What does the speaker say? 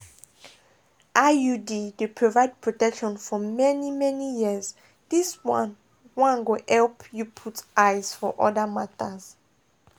iud dey provide protection for many-many years this one one go help you put eyes for other matters.